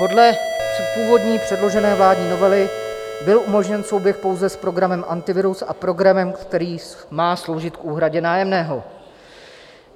Podle původní předložené vládní novely byl umožněn souběh pouze s programem Antivirus a programem, který má sloužit k úhradě nájemného.